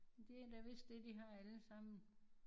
Det er da vist det de har alle sammen